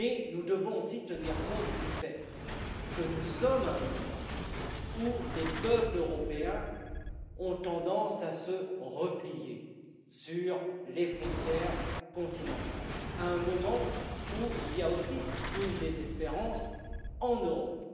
Nous devons toutefois aussi tenir compte du fait que nous sommes à un moment où les peuples européens ont tendance à se replier sur les frontières continentales, à un moment où l'on ressent aussi une désespérance en Europe.